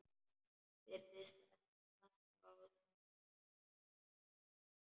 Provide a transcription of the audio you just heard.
Virðist standa á sama.